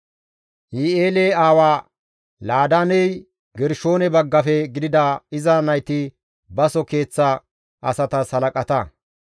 Yihi7eele aawa Laadaaney Gershoone baggafe gidida iza nayti baso keeththa asatas halaqata.